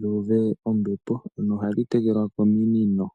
dhu uve ompepo, no ha dhi tekelwa kominino.